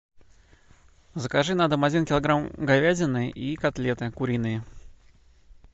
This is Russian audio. закажи на дом один килограмм говядины и котлеты куриные